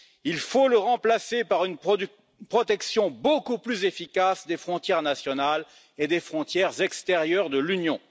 Il faut le remplacer par une protection beaucoup plus efficace des frontières nationales et des frontières extérieures de l'Union.